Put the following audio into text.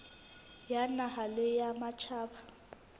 ya naha le ya matjhaba